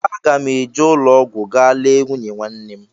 Aga m eje ụlọọgwụ ga lee nwunye nwanne m